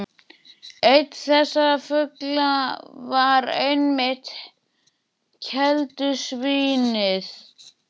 Einn þessara fugla var einmitt keldusvín- ið.